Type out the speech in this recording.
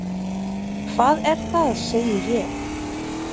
Hvað er það? segi ég.